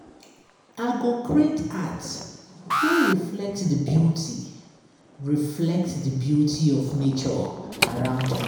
I go create art wey reflect di beauty reflect di beauty of nature around me.